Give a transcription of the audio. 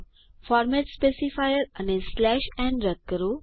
format specifier અને n રદ કરો